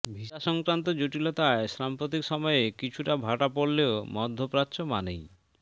ভিসাসংক্রান্ত জটিলতায় সাম্প্রতিক সময়ে কিছুটা ভাটা পড়লেও মধ্যপ্রাচ্য মানেই